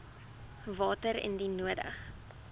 water indien nodig